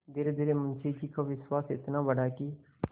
धीरेधीरे मुंशी जी का विश्वास इतना बढ़ा कि